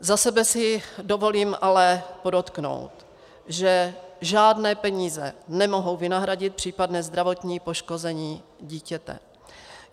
Za sebe si dovolím ale podotknout, že žádné peníze nemohou vynahradit případné zdravotní poškození dítěte.